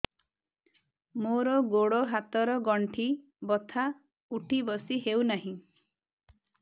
ମୋର ଗୋଡ଼ ହାତ ର ଗଣ୍ଠି ବଥା ଉଠି ବସି ହେଉନାହିଁ